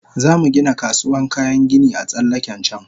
Zamu Gina kasuwan kayan gini a tsallaken can